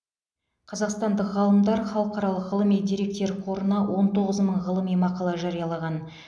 қазақстандық ғалымдар халықаралық ғылыми деректер қорына он тоғыз мың ғылыми мақала жариялаған